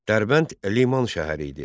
Dərbənd liman şəhəri idi.